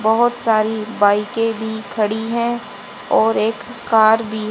बहुत सारी बाईकें भी खड़ी है और एक कार भी।